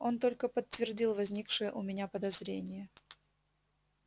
он только подтвердил возникшее у меня подозрение